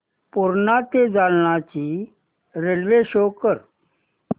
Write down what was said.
पूर्णा ते जालना ची railway show कर